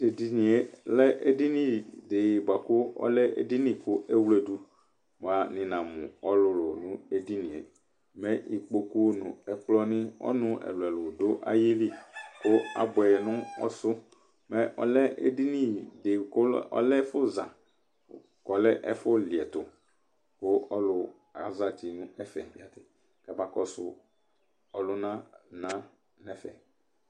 Tʊ edinyɩe lɛ edinyɩ dɩ bakʊ ɔlɛ edinyɩ kʊ ewledʊ, bʊa nɩnamʊ ɔlʊlʊ nʊ edinyɩe Mɛ ikpokpʊ nʊ ɛkplɔnɩ, ɔnʊnɩ ɛlʊ ɛlʊ dʊ ayilɩ kʊ labʊɛ nʊ ɔsʊ Mɛ ɔlɛ edinyɩ dɩ kʊ ɔlɛ ɛfʊza, kʊ ɔlɛ ɛfʊ lɩɛtʊ kʊ ɔlʊ azeti nʊ ɛfɛ, kabakɔsʊ ɔlʊna na nʊ ɛfɛ